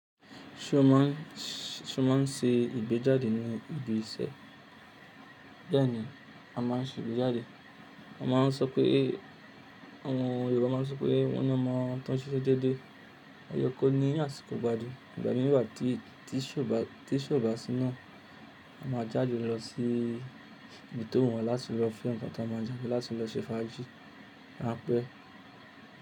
Ṣé o má n ṣe ìgbéjáde ní ibi iṣẹ́? Bẹ́ẹ̀ni, a má n ṣe ìgbéjáde. A má n sọ pé, àwọn Yorùbá má n sọ pé wọ́n ni omọ́ toun sísẹ́ dédé. O ye kó ni àsìkò igbádùn. Ìgbà mí wa, tí ise o bà si naa, a má a jáde lọ sí ibi tó wù wọ́n láti lọ fún ǹkan tí a má a jẹ, láti lọ ṣe fàájì, ranpẹ́.